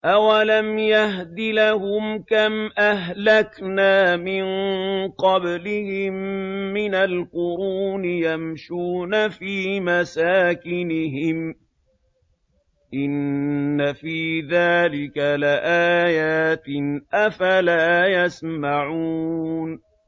أَوَلَمْ يَهْدِ لَهُمْ كَمْ أَهْلَكْنَا مِن قَبْلِهِم مِّنَ الْقُرُونِ يَمْشُونَ فِي مَسَاكِنِهِمْ ۚ إِنَّ فِي ذَٰلِكَ لَآيَاتٍ ۖ أَفَلَا يَسْمَعُونَ